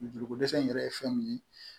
Joliko dɛsɛ in yɛrɛ ye fɛn min ye